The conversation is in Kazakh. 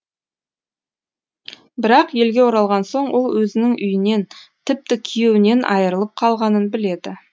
бірақ елге оралған соң ол өзінің үйінен тіпті күйеуінен айырылып қалғанын біледі